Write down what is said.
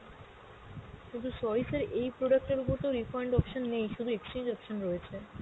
কিন্তু sorry sir, এই product এর ওপর তো refund option নেই, শুধু exchange option রয়েছে।